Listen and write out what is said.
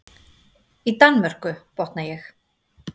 Í Danmörku, botna ég.